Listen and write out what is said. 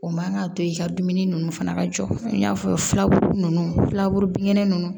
O man ka to i ka dumuni ninnu fana ka jɔ i n'a fɔ filaburu ninnu filaburu binkɛnɛ ninnu